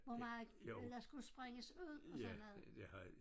Hvor meget der skulle springes ud og sådan noget